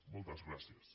moltes gràcies